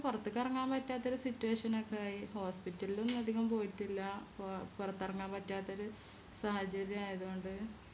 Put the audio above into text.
പൊറത്തേക്ക് എറങ്ങാൻ പറ്റാത്തൊരു Situation ഒക്കെയായി Hospital ലും അതികം പോയിട്ടില്ല പോ പൊറത്തെറങ്ങാൻ പറ്റാത്തൊരു സാഹചര്യം ആയത് കൊണ്ട്